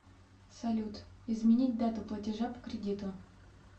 салют изменить дату платежа по кредиту